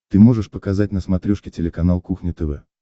ты можешь показать на смотрешке телеканал кухня тв